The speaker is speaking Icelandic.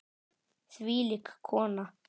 Þvílík kona.